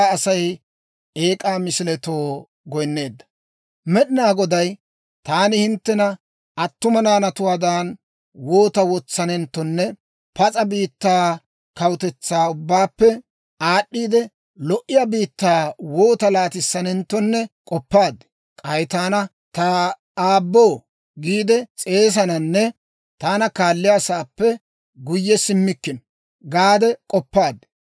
Med'inaa Goday; «Taani hinttena attuma naanatuwaadan woota wotsanenttonne, pas'a biittaa, kawutetsaa ubbaappe aad'd'iide, lo"iyaa biittaa woota laatissanenttonne k'oppaad. K'ay taana, ‹Ta aaboo› giide s'eesananne taana kaalliyaasaappe guyye simmikkino gaade k'oppaad.